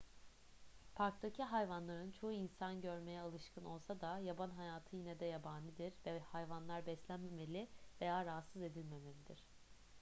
parktaki hayvanların çoğu insan görmeye alışkın olsa da yaban hayatı yine de yabanidir ve hayvanlar beslenmemeli veya rahatsız edilmemelidir